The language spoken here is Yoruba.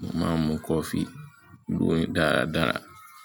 Mo máa ń mu coffee lórí dáradára.